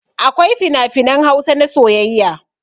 Akwai finafinan Hausa na soyayya.